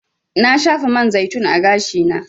Na shafa man zaitun a gashi na.